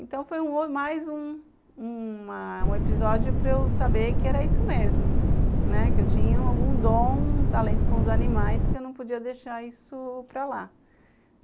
Então, foi mais um uma um episódio para eu saber que era isso mesmo, que eu tinha algum dom, um talento com os animais, que eu não podia deixar isso para lá.